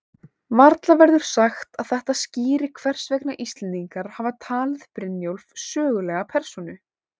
Varla verður sagt að þetta skýri hvers vegna Íslendingar hafa talið Brynjólf sögulega persónu.